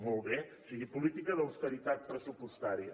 molt bé o sigui política d’austeritat pressupostària